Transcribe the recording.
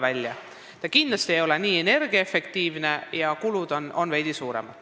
Vana hoone ei ole kindlasti nii energiaefektiivne ja kulud on seal veidi suuremad.